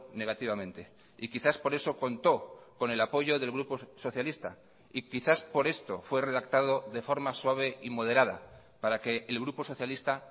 negativamente y quizás por eso contó con el apoyo del grupo socialista y quizás por esto fue redactado de forma suave y moderada para que el grupo socialista